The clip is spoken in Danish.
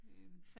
Øh